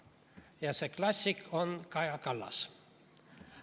Ja see klassik on Kaja Kallas.